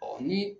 ni